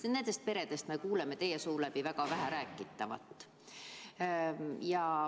Aga nendest peredest me kuuleme teid väga vähe rääkivat.